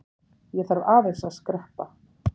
Ég þarf aðeins að skreppa.